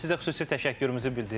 Biz sizə xüsusi təşəkkürümüzü bildiririk.